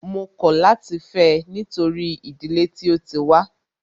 Mó kọ̀ láti fẹ́ ẹ nítorí ìdílé tí o tí wá.